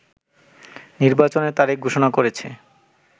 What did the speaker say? নির্বাচনের তারিখ ঘোষণা করেছে